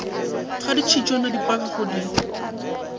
ga ditšhitswana di pakwago di